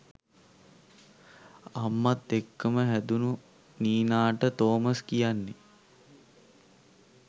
අම්මත් එක්කම හැදුණු නීනාට ‍තෝමස් කියන්නේ